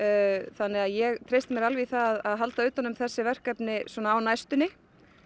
þannig að ég treysti mér alveg í það að halda utan um þessi verkefni á næstunni